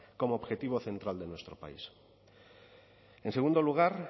como objetivo central de nuestro país en segundo lugar